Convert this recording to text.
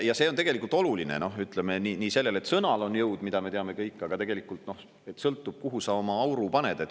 Ja see on tegelikult oluline, ütleme nii sellele, et sõnal on jõud, mida me teame kõik, aga tegelikult, et sõltub, kuhu sa oma auru paned.